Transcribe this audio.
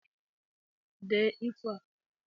Dee ifo a!